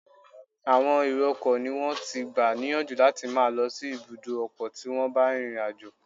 Àwọn èrọ ọkọ̀ ni wón ti gbà níyànjú láti máa lọ sí ibùdó ọkọ tí wón bá rin ìrìn àjò.